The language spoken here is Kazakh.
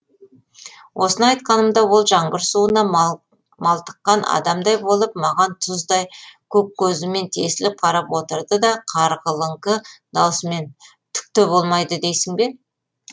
осыны айтқанымда ол жаңбыр суына малтыққан адамдай болып маған тұздай көк көзімен тесіліп қарап отырды да қарлығыңқы дауысымен түк те болмайды дейсің бе